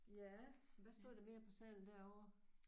Ja hvad stod der mere på sedlen derovre?